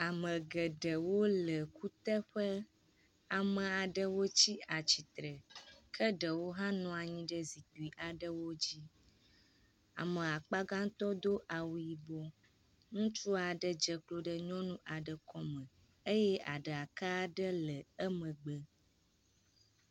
Ame geɖewo le kuteƒe. ame aɖewo tsi atsitre ke ɖewo hã nɔ anyi ɖe zikpui aɖewo dzi. Ame akpagãtɔ do awu yibɔ. Ŋutsu aɖe dze klo ɖe nyɔnu aɖe kɔme eye aɖaka aɖe le emgbe.